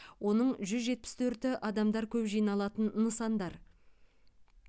оның жүз жетпіс төрті адамдар көп жиналатын нысандар